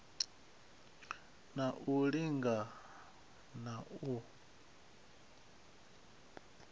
na u linga na u